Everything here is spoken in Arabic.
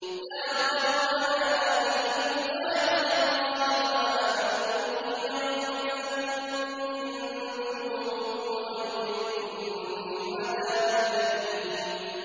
يَا قَوْمَنَا أَجِيبُوا دَاعِيَ اللَّهِ وَآمِنُوا بِهِ يَغْفِرْ لَكُم مِّن ذُنُوبِكُمْ وَيُجِرْكُم مِّنْ عَذَابٍ أَلِيمٍ